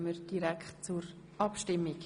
– Dies ist nicht der Fall.